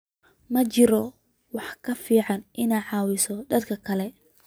Ma jiro wax ka fiican inaad caawiso dadka kale